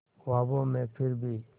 ख्वाबों में फिर भी